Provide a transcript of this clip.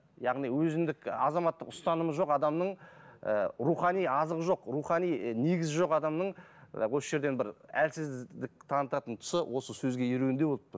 яғни өзіндік азаматтық ұстанымы жоқ адамның ы рухани азығы жоқ рухани і негізі жоқ адамның осы жерден бір әлсіздік танытатын тұсы осы сөзге еруінде болып тұр